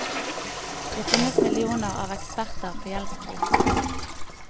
Det finnes millioner av eksperter på gjeldskrisen.